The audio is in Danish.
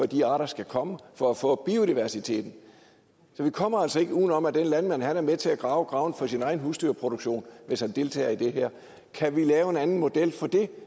de arter skal komme og for at få biodiversiteten så vi kommer altså ikke udenom at den landmand er med til at grave graven for sin egen husdyrproduktion hvis han deltager i det her kan vi lave en anden model for det